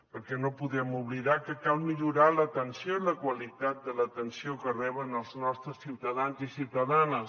perquè no podem oblidar que cal millorar l’atenció i la qualitat de l’atenció que reben els nostres ciutadans i ciutadanes